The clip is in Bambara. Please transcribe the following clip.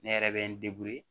Ne yɛrɛ bɛ n